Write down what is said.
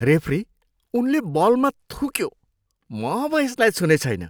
Referee, उनले बलमा थुक्यो। म अब यसलाई छुने छैन।